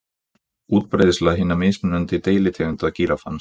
Útbreiðsla hinna mismunandi deilitegunda gíraffans.